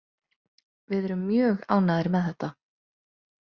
Við erum mjög ánægðir með þetta.